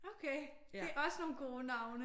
Okay. Det er også nogle gode navne